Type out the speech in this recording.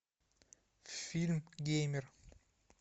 фильм геймер